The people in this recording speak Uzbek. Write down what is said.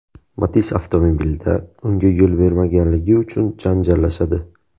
Matiz avtomobilida unga yo‘l bermaganligi uchun janjallashadi.